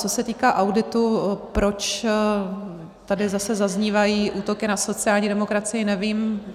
Co se týká auditu, proč tady zase zaznívají útoky na sociální demokracii, nevím.